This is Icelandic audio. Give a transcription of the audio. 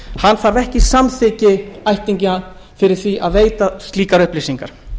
umsækjandinn þarf ekki samþykki ættingja fyrir því að veita slíkar upplýsingar